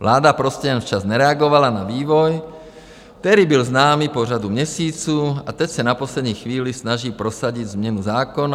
Vláda prostě jen včas nereagovala na vývoj, který byl známý po řadu měsíců, a teď se na poslední chvíli snaží prosadit změnu zákona.